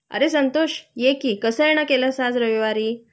अरे संतोष ये की.कसं येण केलंस आज रविवारी?